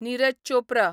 Niraj Chopra